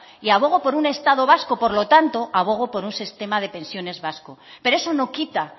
y abogo por un estado vasco por lo tanto abogo por un sistema de pensiones vasco pero eso no quita